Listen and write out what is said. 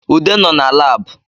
Ude nọ na Lab